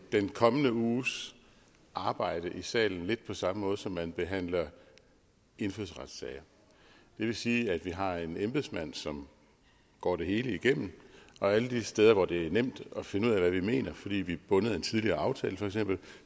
den kommende uges arbejde i salen lidt på samme måde som man behandler indfødsretssager det vil sige at vi har en embedsmand som går det hele igennem og alle de steder hvor det er nemt at finde ud af hvad vi mener fordi vi bundet af en tidligere aftale